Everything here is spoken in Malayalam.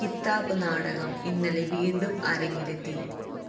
കിത്താബ് നാടകം ഇന്നലെ വീണ്ടും അരങ്ങിലെത്തി